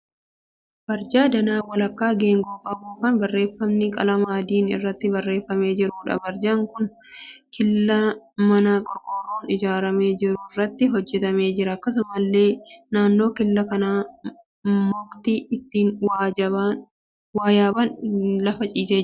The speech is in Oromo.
Barjaa danaa walakkaa geengoo qabu kan barreeffamni qalama adiin irratti barreeffamee jiruudha. Barjaan kun killaa manaa qorqorroon ijaaramee jiru irratti hojjetamee jira. Akkasumallee naannoo killaa kanaa mukti ittiin waa yaaban lafa ciisee jira.